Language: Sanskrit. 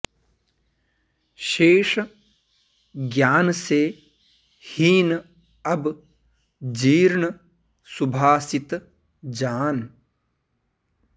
शेष ज्ञान से हीन अब जीर्ण सुभाषित जान